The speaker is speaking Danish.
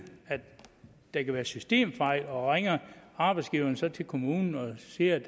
at der kan være systemfejl og ringer arbejdsgiveren så til kommunen og siger at